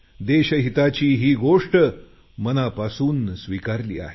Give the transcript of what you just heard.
देशहिताची ही गोष्ट मनापासून स्वीकारली आहे